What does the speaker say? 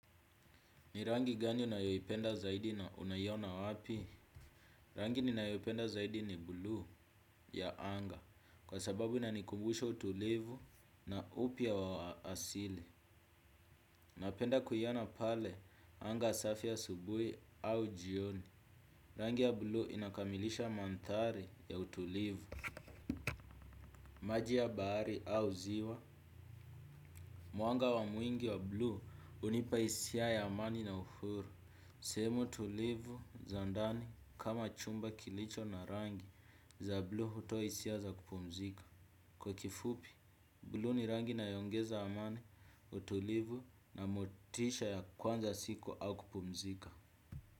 Ni rangi gani unayoyipenda zaidi na unayiona wapi? Rangi ninayoyipenda zaidi ni blue ya anga. Kwa sababu inanikumbusha utulivu na upia wa asili. Napenda kuyona pale anga safi asubui au jioni. Rangi ya blue inakamilisha mantari ya utulivu. Maji ya bahari au ziwa muanga wa mwingi wa blue unipaisia yamani na uhuru. Semu tulivu za ndani kama chumba kilicho na rangi za blu hutoisia za kupumzika. Kwa kifupi, blu ni rangi inayongeza amani utulivu na motisha ya kwanza siku au kupumzika.